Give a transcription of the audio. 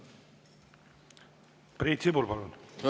Priit Sibul, palun!